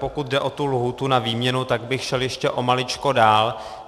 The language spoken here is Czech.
Pokud jde o tu lhůtu na výměnu, tak bych šel ještě o maličko dál.